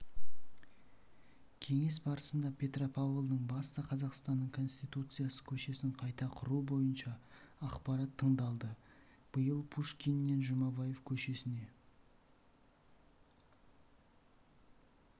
кеңес барысында петропавлдың басты қазақстанның конституциясы көшесін қайта құру бойынша ақпарат тыңдалды биыл пушкиннен жұмабаев көшесіне